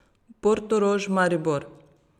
Portorož, Maribor.